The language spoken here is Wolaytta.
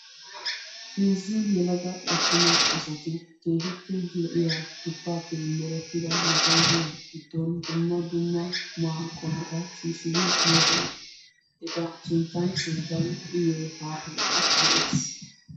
Heezzu yelaga atumma asatti keehippe lo'iya duppaappe merettida maasoppiya giddon dumma dumma qumaa qommota shiishshidi moosona eta sinttan sinttan uyiyo haattay de'ees.